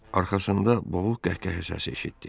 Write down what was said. Arxasında boğuq qəhqəhə səsi eşitdi.